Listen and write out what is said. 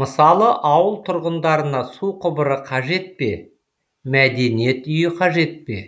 мысалы ауыл тұрғындарына су құбыры қажет пе мәдениет үйі қажет пе